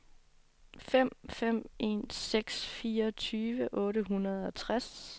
fem fem en seks fireogtyve otte hundrede og tres